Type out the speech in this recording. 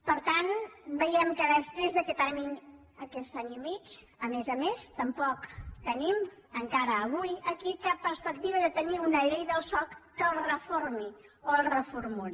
per tant veiem que després d’aquest any i mig a més a més tampoc tenim encara avui aquí cap perspectiva de tenir una llei del soc que el reformi o el reformuli